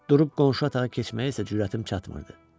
Durub qonşu otağa keçməyə isə cürətim çatmırdı.